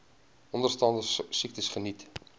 onderstaande siektes geniet